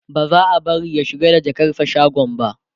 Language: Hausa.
ba za'a bari ya shiga da jakarsa shagon ba